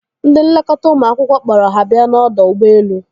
Ndị nlekọta ụmụ akwụkwọ kpọrọ ha bia n'ọdọ ụgbọelu.